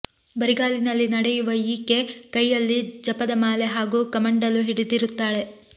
ಬರಿಗಾಲಿನಲ್ಲಿ ನಡೆಯುವ ಈಕೆ ಕೈಯಲ್ಲಿ ಜಪದ ಮಾಲೆ ಹಾಗೂ ಕಮಂಡಲು ಹಿಡಿದಿರುತ್ತಾಳೆ